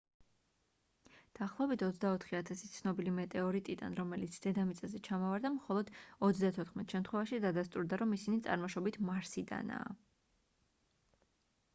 დაახლოებით 24 000 ცნობილი მეტეორიტიდან რომელიც დედამიწაზე ჩამოვარდა მხოლო 34 შემთხვევაში დადასტურდა რომ ისინი წარმოშობით მარსიდანაა